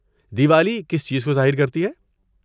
دیوالی کس چیز کو ظاہر کرتی ہے؟